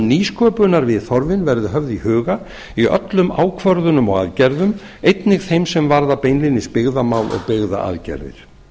nýsköpunarviðhorfin verði höfð í huga í öllum ákvörðunum og aðgerðum einnig þeim sem varða beinlínis byggðamál og byggðaaðgerðir